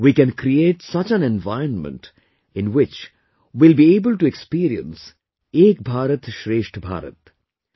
We can create such an environment in which we will be able to experience 'Ek BharatShreshtha Bharat'